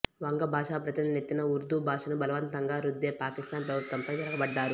వంగ భాషా ప్రజల నెత్తిన ఉర్దూ భాషను బలవంతంగా రుద్దే పాకిస్తాన్ ప్రభుత్వంపై తిరగబడ్డారు